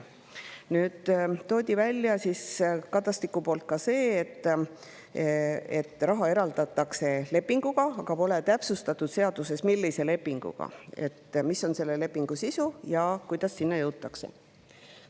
Kadastik tõi välja ka selle, et raha eraldatakse lepinguga, aga seaduses pole täpsustatud, millise lepinguga, mis on selle lepingu sisu ja kuidas selleni jõutakse.